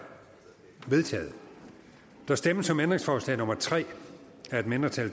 vedtaget der stemmes om ændringsforslag nummer tre af et mindretal